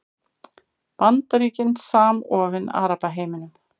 Bandaríkin samofin Arabaheiminum